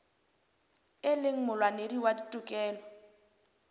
e leng molwanedi wa ditokelo